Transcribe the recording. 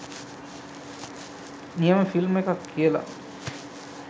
නියම ෆිල්ම් එකක් කියලා.